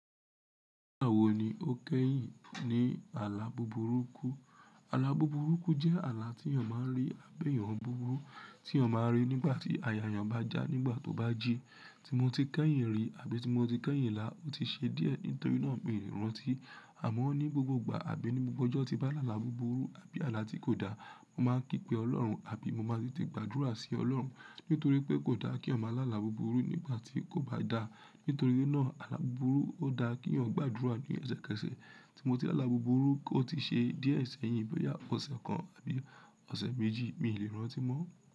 Nígbà wo ni o kẹ́yìn ní àlá buburuku? Àlá buburuku jẹ́ àlá tí èèyàn máa ń rí àbí èèyàn búburú tí ọ máa rí nígbà tí ayẹyẹ ń bá já nígbà tó bá ji. Tí mo ti kẹ́yìn rí àbí tí mo ti kẹ́yìn lá, ó ti ṣe díẹ̀ nítorí náà mi ò lè rántí. Àmọ́ ní gbogbo ìgbà àbí ní gbogbo ọjọ́ tí bá là lára buburu àbí àlá tí kò dá, mo máa ń kí pe Ọlọ́run àbí mo máa ti gbàdúrà sí Ọlọ́run. Nítorí pé kò dá kí ọmọ aláàlá buburu nígbà tí kò bá dá. Nítorí náà àlá buburu ó dá kí ọmọ gbàdúrà ní ẹsẹ kẹsẹ̀. Tí mo ti lá lára buburu, ó ti ṣe díẹ̀ ẹ̀sán yìí bóyá ọ̀sẹ̀ kan àbí ọ̀sẹ̀ méjì mi ò lè rántí mọ́.